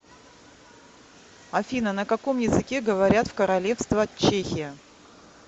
афина на каком языке говорят в королевство чехия